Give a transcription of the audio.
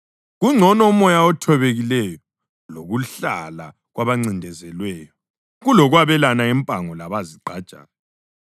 Kungcono umoya othobekileyo lokuhlala kwabancindezelweyo kulokwabelana impango labazigqajayo.